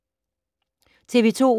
TV 2